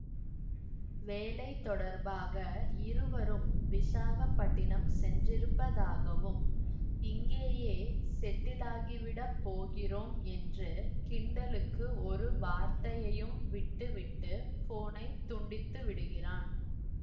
வேலை தொடர்பாக இருவரும் விசாகப்பட்டினம் சென்றிருப்பதாகவும் இங்கேயே செட்டிலாகிவிடப் போகிறோம் என்று கிண்டலுக்கு ஒரு வார்த்தையையும் விட்டுவிட்டு போனை துண்டித்து விடுகிறான்